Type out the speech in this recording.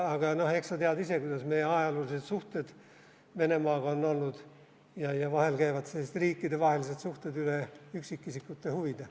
Aga eks sa tead ise, kuidas meie ajaloolised suhted Venemaaga on olnud ja vahel käivad sellised riikidevahelised suhted üle üksikisikute huvide.